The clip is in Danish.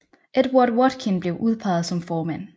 Edward Watkin blev udpeget som formand